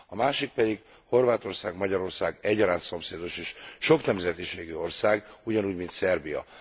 A másik pedig Horvátország, Magyarország egyaránt szomszédos és soknemzetiségű ország, ugyanúgy, mint Szerbia.